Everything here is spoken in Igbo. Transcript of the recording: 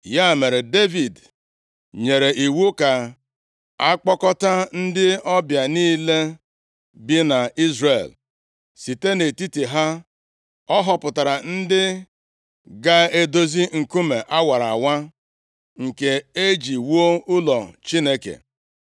Ya mere, Devid nyere iwu ka a kpọkọta ndị ọbịa niile bi nʼIzrel, site nʼetiti ha ọ họpụtara ndị ga-edozi nkume a wara awa nke e ji wuo ụlọ Chineke.